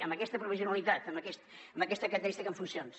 amb aquesta provisionalitat amb aquesta característica en funcions